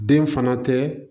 Den fana tɛ